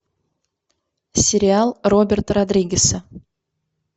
сериал роберта родригеса